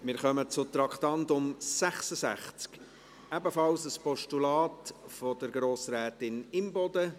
Wir kommen zum Traktandum 66, ebenfalls ein Postulat der Grossrätin Imboden.